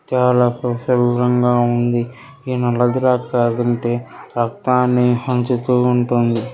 Kerala flu తీవ్రంగా ఉంది. ఈ నల్ల ద్రాక్ష తింటే రక్తాన్ని పెంచుతూ ఉంటుంది.